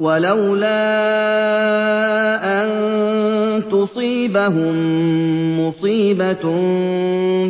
وَلَوْلَا أَن تُصِيبَهُم مُّصِيبَةٌ